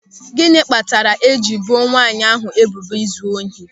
Gịnị kpatara e jiri ebo nwanyị ahụ ebubo izu ohi?